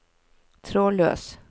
trådløs